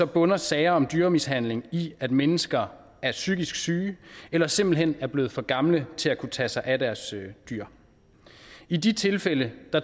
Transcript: bunder sager om dyremishandling i at mennesker er psykisk syge eller simpelt hen er blevet for gamle til at kunne tage sig af deres dyr i de tilfælde